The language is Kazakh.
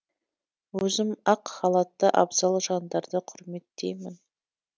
өзім ақ халатты абзал жандарды құрметтеймін